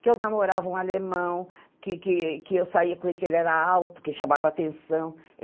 Que eu namorava um alemão, que que que eu saía com ele, que ele era alto, que chamava atenção.